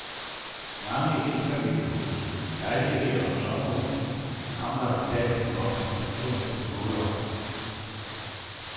Mange énfamiliehuse, lejligheder og sommerhuse mangler i dag den obligatoriske måler.